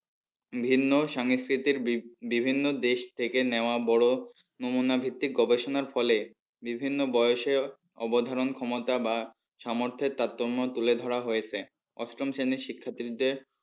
ভিন্ন সংস্কৃতির বিভিন্ন দেশ থেকে নেওয়ার বড় নমুনা ভিত্তিক গবেষণার ফলে বিভিন্ন বয়সে অবধারণ ক্ষমতা বা সামর্থের তারতম্য তুলে ধরা হয়েছে অষ্টম শ্রেণীর শিক্ষার্থীদের